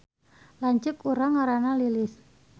Lanceuk urang ngaranna Lilis